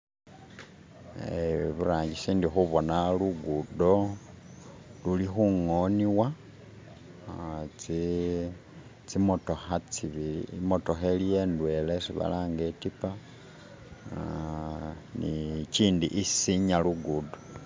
Eh iburangisi ndikhubona lu'gudo lulikhungonebwa, uh tsimotokha tsi'bili, imotokha iliyo ndwela isi balanga itipa, uh ni kindi isinya lugudo.